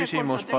Küsimus, palun!